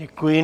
Děkuji.